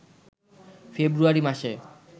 ফেব্রুয়ারি মাসে